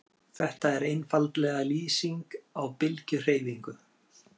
Þetta er einfaldlega lýsing á bylgjuhreyfingu.